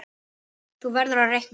Þú verður að reikna